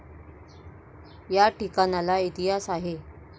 या ठिकाणाला इतिहास आहे.